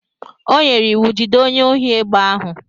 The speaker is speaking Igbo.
O nyere iwu, jide onye ohi egbe ahụ.